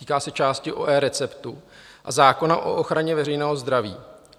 Týká se části o eReceptu a zákona o ochraně veřejného zdraví.